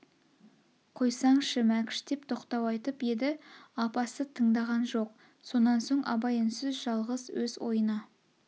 қойсаңшы мәкш деп тоқтау айтып еді апасы тыңдаған жоқ сонан соң абай үнсіз жалғыз өз ойына